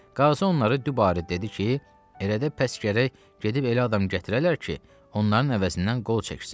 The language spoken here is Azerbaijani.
Qazı onları dübarə dedi ki, elə də pəs gərək gedib elə adam gətirərlər ki, onların əvəzindən qol çəksin.